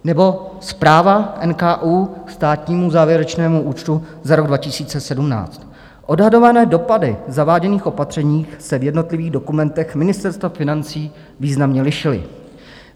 Nebo zpráva NKÚ ke státnímu závěrečnému účtu za rok 2017: Odhadované dopady zaváděných opatření se v jednotlivých dokumentech Ministerstva financí významně lišily.